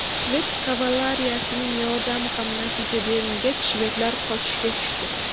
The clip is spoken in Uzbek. Shved kavaleriyasining yordami ham natija bermagach, shvedlar qochishga tushdi.